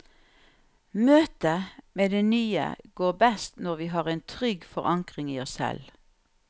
Møtet med det nye går best når vi har en trygg forankring i oss selv.